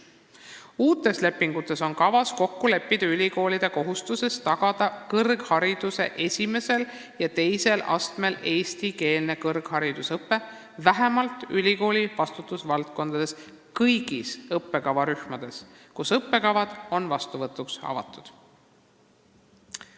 Uutes lepingutes on kavas kokku leppida ülikoolide kohustuses tagada kõrghariduse esimesel ja teisel astmel eestikeelne õpe vähemalt ülikooli vastutusvaldkondades kõigis õppekavarühmades, kus on õppekavad vastuvõtuks avatud.